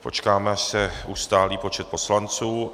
Počkám, až se ustálí počet poslanců.